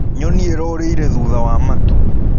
Nyonĩ ĩrorĩĩre thũtha wa matũ.